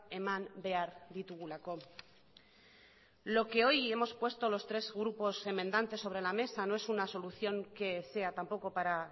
eman behar ditugulako lo que hoy hemos puesto los tres grupos enmendantes sobre la mesa no es una solución que sea tampoco para